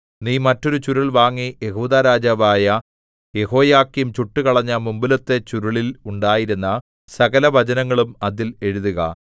നീ മറ്റൊരു ചുരുൾ വാങ്ങി യെഹൂദാ രാജാവായ യെഹോയാക്കീം ചുട്ടുകളഞ്ഞ മുമ്പിലത്തെ ചുരുളിൽ ഉണ്ടായിരുന്ന സകലവചനങ്ങളും അതിൽ എഴുതുക